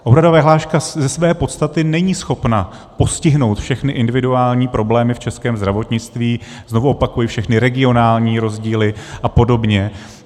Úhradová vyhláška ze své podstaty není schopna postihnout všechny individuální problémy v českém zdravotnictví, znovu opakuji, všechny regionální rozdíly a podobně.